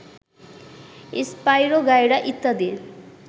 spirogyra ইত্যাদি